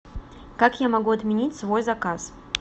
как я могу отменить свой заказ